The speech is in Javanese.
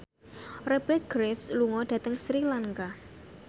Rupert Graves lunga dhateng Sri Lanka